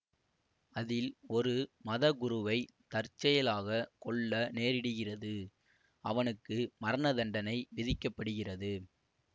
அதில் ஒரு மதகுருவை தற்செயலாக கொல்ல நேரிடுகிறது அவனுக்கு மரணதண்டனை விதிக்க படுகிறது